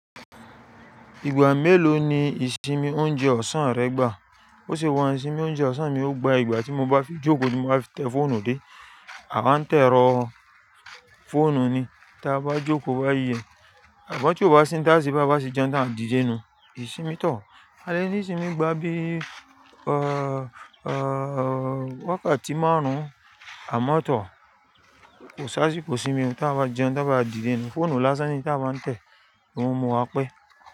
Ìgbà mélòó ni ìsinmi oúnjẹ ọ̀sán rẹ gbà? Ó ṣe wà ní ìsinmi oúnjẹ ọ̀sán mi ó gbà ìgbà tí mo bá fi jókòó ni mo máa tẹ fóònù dé. A máa ń to ìrọ̀ fóònù ni tí a bá jókòó bá yi. Sugbon tí o bá sin táàsí bá máa sí jẹun tàbí a dìde nu, ìsinmi tọ̀. Adé ní ìsinmi gbà bí i, eéh, eéh, eéh, wákàtí márùn-ún àmọ́ tọ̀. Kò sáá sì kó sinmi tí a bá jẹun, tí a bá dìde nu. Fóònù lásán ni tí a bá ń tẹ̀ ló ń mú wa pẹ́.